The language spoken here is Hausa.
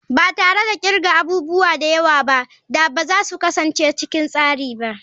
Ba tare da kirga abubuwa da yawa ba ba za su kasance cikin tsari ba.